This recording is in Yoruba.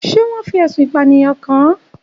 Ṣé wọ́n fi ẹ̀sùn ìpànìyàn kàn án?